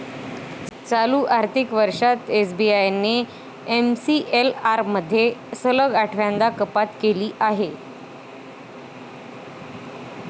चालू आर्थिक वर्षांत एसबीआयने एमसीएलआरमध्ये सलग आठव्यांदा कपात केली आहे.